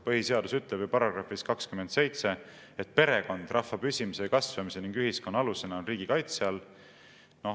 Põhiseadus ütleb ju §‑s 27, et perekond rahva püsimise ja kasvamise ning ühiskonna alusena on riigi kaitse all.